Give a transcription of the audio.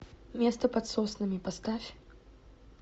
место под соснами поставь